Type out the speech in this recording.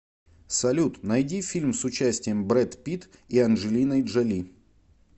салют найди фильм с участием брэд питт и анджелиной джоли